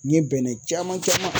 N ye bɛnɛ caman caman